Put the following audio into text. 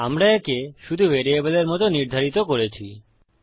আমরা একে শুধু ভ্যারিয়েবলের মত নির্ধারিত করেছি